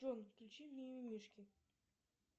джой включи мимимишки